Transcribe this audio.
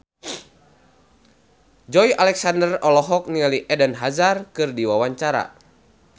Joey Alexander olohok ningali Eden Hazard keur diwawancara